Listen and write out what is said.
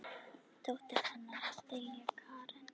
Dóttir hennar er Diljá Karen.